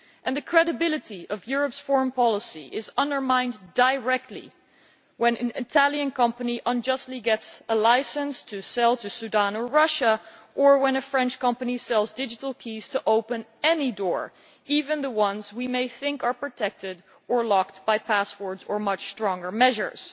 The credibility of Europe's foreign policy is undermined directly when an Italian company unjustly gets a licence to sell to Sudan or Russia, or when a French company sells digital keys to open any door, even the ones we may think are protected or locked by passwords, or much stronger measures.